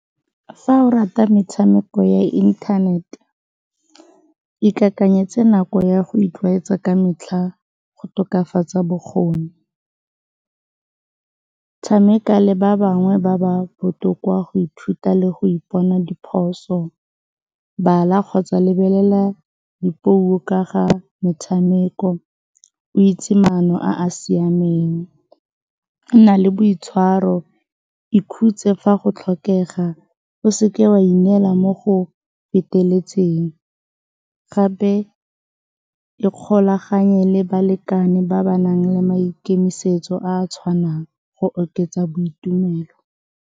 Fa o rata metshameko ya internet, ikakanyetse nako ya go itlwaetsa ka metlha go tokafatsa bokgoni. Tshameka le ba bangwe ba ba botoka go ithuta le go ipona diphoso, bala kgotsa lebelela dipuo ka ga metshameko o itse maano a a siameng. Nna le boitshwaro, ikhutse fa go tlhokega, o se ke wa ineela mo go feteletseng. Gape ikgolaganye le balekane ba ba nang le maikemisetso a a tshwanang go oketsa boitumelo.